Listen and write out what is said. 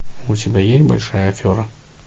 у тебя есть большая афера